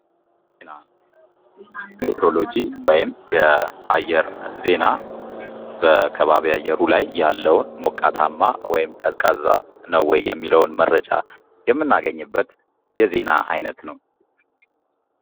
ዜና ሜትሮሎጅ ወይም የአየር ዜና በከባቢ አየሩ ላይ ያለዉን ሞቃታማ ወይም ቀዝቃዛ ነዉ ወይ የሚለዉን መግለጫ የምናገኝበት የዜና አይነት ነዉ።